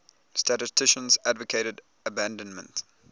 statisticians advocated abandonment